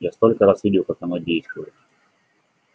я столько раз видел как оно действует